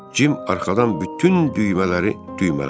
Cim arxadan bütün düymələri düymələdi.